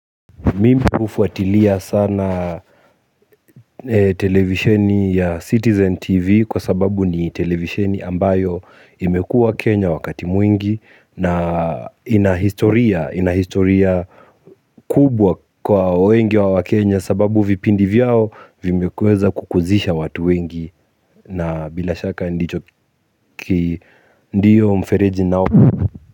Mimi hufuatilia sana televisheni ya Citizen TV kwa sababu ni televisheni ambayo imekuwa Kenya wakati mwingi na inahistoria kubwa kwa wengi wa wakenya sababu vipindi vyao vimekweza kukuzisha watu wengi na bila shaka ndicho ki ndio mfereji nao.